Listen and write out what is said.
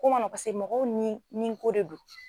ko man pase mɔgɔw nin nin ko de do.